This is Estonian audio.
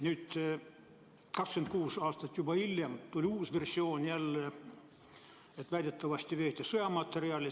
Nüüd, 26 aastat hiljem tuli jälle versioon, et väidetavalt veeti laeval sõjamaterjali.